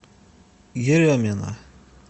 еремина